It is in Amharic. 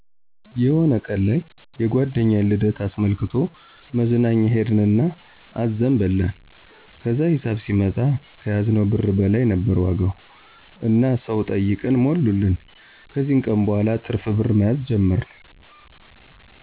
የሆነ ቀን ላይ የጓደኛዬን ልደት አስመልክቶ መዝናኛ ሄድን እና አዘን በላን። ከዛም ሂሳብ ሲመጣ ከያዝነው ብር በላይ ነበር ዋጋው እና ሰው ጠይቀን ሞሉልን። ከዚ ቀን በኋላ ትርፍ ብር መያዝ ጀመርን።